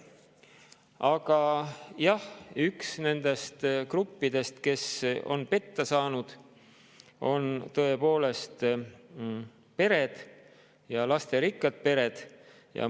Aga jah, üks nendest gruppidest, kes on petta saanud, on tõepoolest pered, lasterikkad pered.